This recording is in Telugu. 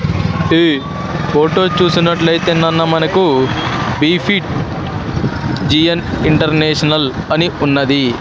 ఇది ఫోటో చూసినట్లయితే నన్న మనకు బి_పి_జి_ఎన్ ఇంటర్నేషనల్ అని ఉన్నది.